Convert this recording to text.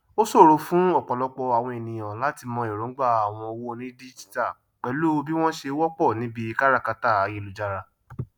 o sòro fún ọpọlọpọ àwon èniyàn latí mọ èròǹgbà àwọn owó onídíjítà pẹlú bí wọn sé wọpọ níbí káràkátà ayélujára